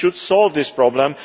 We should solve this problem